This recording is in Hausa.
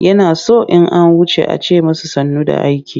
Yana son in an wuce a ce masa sannu da aiki.